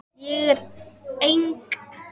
Ég er eng